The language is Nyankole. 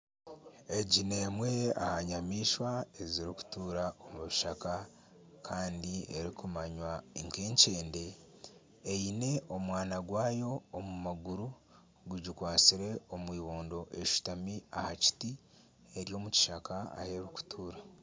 Egi n'emwe aha nyamaishwa ezirikutuura omu kishaka kandi erikumanywa nk'enkyende eine omwana gwayo omu maguru gugikwatisre omu eibondo eshutami aha kiti eri omu kishaka ahi erikutuura.